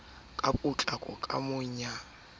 ka potlako ka ho ya